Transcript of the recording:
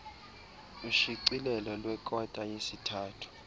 ushicilelo lwekota yesithathu